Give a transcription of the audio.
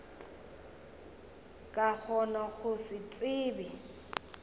ka gona go se tsebe